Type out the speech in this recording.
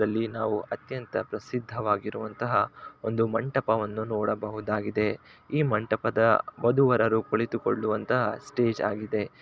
ಇಲ್ಲಿ ನಾವು ಬಹಳ ಪ್ರಸಿದ್ಧವಾದಂತ ಒಂದು ಮಂಟಪವನ್ನು ನೋಡಬಹುದಾಗಿದೆ ಈ ಮಂಟಪದ ವಧು-ವರರು ಕುಳಿತು ಕೊಳ್ಳುವಂತ ಅದ್ಭುತವಾದಂತಹ ಒಂದು ಸ್ಟೇಜ್ ನ್ನೂ ಆಗಿದೆ ಈ ಸ್ಟೇಜಿನ ಬ್ಯಾಗ್ರೌಂಡ ನ್ನು ಅದ್ಭುತವಾಗಿ ಅಲಂಕಾರವನ್ನು ಮಾಡಿದ್ದಾರೆ ಇದು ನೋಡುವುದಕ್ಕೆ ತುಂಬಾ ಅಚ್ಚರಿಯನ್ನು ಮೂಡಿಸುತ್ತಿದೆ